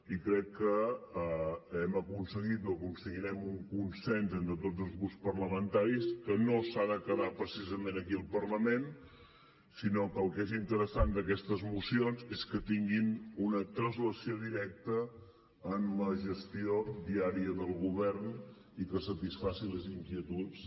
i crec que hem aconseguit o aconseguirem un consens entre tots els grups parlamentaris que no s’ha de quedar precisament aquí al parlament sinó que el que és interessant d’aquestes mocions és que tinguin una translació directa en la gestió diària del govern i que satisfacin les inquietuds